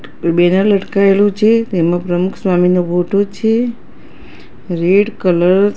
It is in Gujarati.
બેનર લટકાઈલુ છે તેમા પ્રમુખ સ્વામીનો ફોટો છે રેડ કલર --